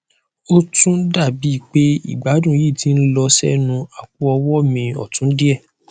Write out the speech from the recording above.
ó tún dá bi pe igbadun yii ti n lọ sẹnu apoọwọ mi ọtun díẹ